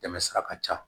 Tɛmɛ sira ka ca